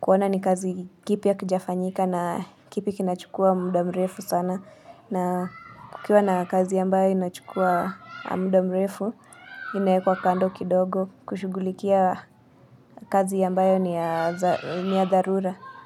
kuona ni kazi kipi hakijafanyika na kipi kinachukua muda mrefu sana na kukiwa na kazi ambayo inachukua muda mrefu inaekwa kando kidogo kushughulikia kazi ambayo ni ya dharura.